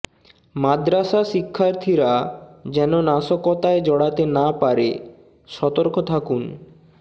মাদ্রাসা শিক্ষার্থীরা যেন নাশকতায় জড়াতে না পারে সতর্ক থাকুন